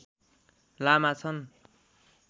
लामा छन्